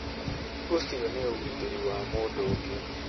Ũcio nĩ ũgitĩri wa mũndũ ũngĩ.